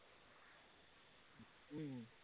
উম